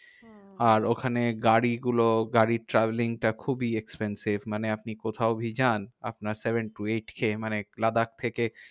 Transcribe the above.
আর ওখানে গাড়িগুলো গাড়ির travelling টা খুবই expensive. মানে আপনি কোথাও যদি যান, আপনার seven to eight K মানে লাদাখ থেকে